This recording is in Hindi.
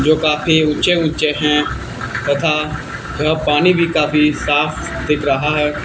जो काफी ऊंचे ऊंचे हैं तथा यह पानी भी काफी साफ दिख रहा है।